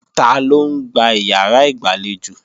Taló ń gbá ìyàrá ìgbàlejò?